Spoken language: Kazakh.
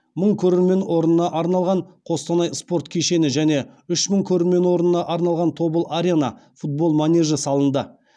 мың көрермен орнына арналған қостанай спорт кешені және үш мың көрермен орнына арналған тобыл арена футбол манежі салынды